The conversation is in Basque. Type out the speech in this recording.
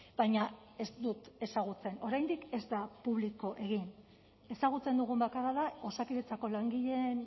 baina ez dut ezagutzen oraindik ez da publiko egin ezagutzen dugun bakarra da osakidetzako langileen